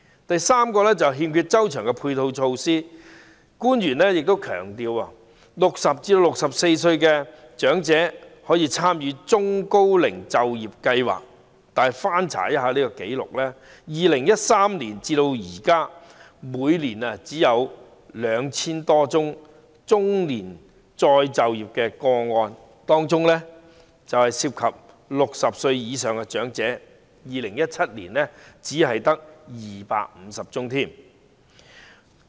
第三，欠缺周詳的配套措施：官員強調60至64歲長者可參加中高齡就業計劃，惟翻查紀錄 ，2013 年至今，每年只有 2,000 多宗中年再就業的個案，當中涉及60歲以上長者的個案在2017年只有250宗。